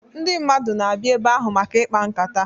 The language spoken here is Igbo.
Ndị mmadụ na-abịa ebe ahụ maka ịkpa nkata.